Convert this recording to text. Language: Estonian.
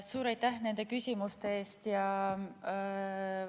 Suur aitäh nende küsimuste eest!